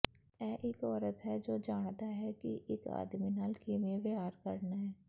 ਇਹ ਇਕ ਔਰਤ ਹੈ ਜੋ ਜਾਣਦਾ ਹੈ ਕਿ ਇਕ ਆਦਮੀ ਨਾਲ ਕਿਵੇਂ ਵਿਹਾਰ ਕਰਨਾ ਹੈ